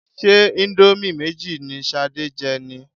Ṣé íńdómì méjì ni Ṣadé jẹ ni?